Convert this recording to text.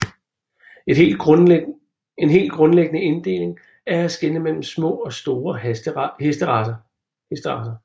En helt grundlæggende inddeling er at skelne mellem små og store hesteracer